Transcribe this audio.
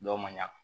Dɔw ma ɲa